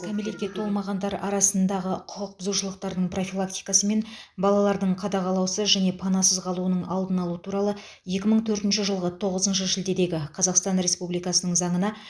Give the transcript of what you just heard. кәмелетке толмағандар арасындағы құқық бұзушылықтардың профилактикасы мен балалардың қадағалаусыз және панасыз қалуының алдын алу туралы екі мың төртінші жылғы тоғызыншы шілдедегі қазақстан республикасының заңына